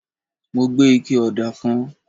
mo gbé ike òdà kan